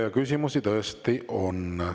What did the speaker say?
Ja küsimusi tõesti on.